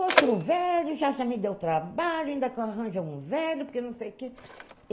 Outro velho, já já me deu trabalho, ainda arranja um velho, porque não sei o quê.